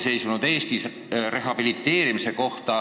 otsuseid rehabiliteerimise kohta.